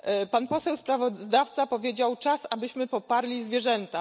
Pan poseł sprawozdawca powiedział czas, abyśmy poparli zwierzęta.